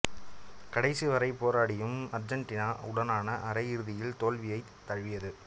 கடைசி வரை போராடியும் அர்ஜென்டினா உடனான அரை இறுதியில் தோல்வியைத் தழுவியது